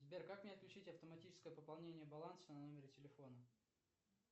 сбер как мне отключить автоматическое пополнение баланса на номере телефона